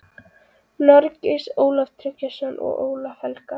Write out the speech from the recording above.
Noregs, Ólaf Tryggvason og Ólaf helga.